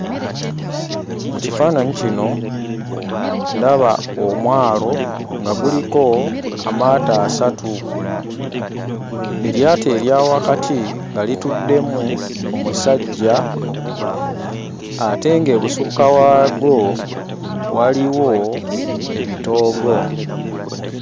Mu kifaananyi kino ndaba omwalo nga guliko amaato asatu, eryato erya wakati nga lituddemu amusajja ate ng'ebusukka waago waliwo ebitoogo.